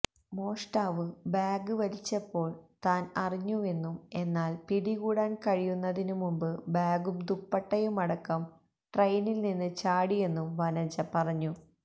മോഷ്ടാവ് ബാഗ് വലിച്ചപ്പോള് താന് അറിഞ്ഞുവെന്നും എന്നാല് പിടികൂടാന് കഴിയുന്നതിനു മുമ്പ് ബാഗും ദുപ്പട്ടയുമടക്കം ട്രെയിനില്നിന്ന് ചാടിയെന്നും വനജ പറഞ്ഞു